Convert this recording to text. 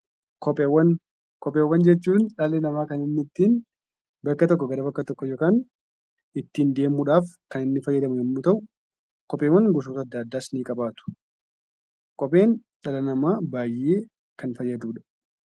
Kopheewwan. Kopheewwan jechuun dhali nama kan inni ittin bakka tokko gara bakka tokko ittin demuudhaaf kan inni faayadamuu yoo ta'u, kopheewwan gosoota adda addaas ni qabatu. Kopheen dhala nama baay'ee kan faayaduudha.